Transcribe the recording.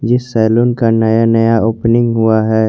जिस सैलून का नया नया ओपनिंग हुआ है।